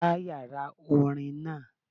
Gbá yàrá orin náà